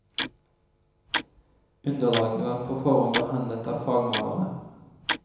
Underlaget var på forhånd behandlet av fagmalere.